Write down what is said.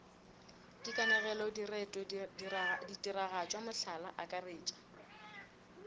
dikanegelo direto ditiragatšo mohlala akaretša